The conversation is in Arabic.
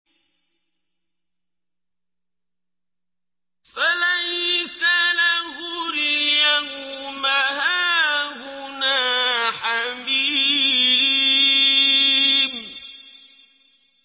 فَلَيْسَ لَهُ الْيَوْمَ هَاهُنَا حَمِيمٌ